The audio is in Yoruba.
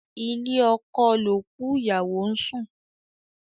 Ilé oko l'òkú ìyàwó n sùn.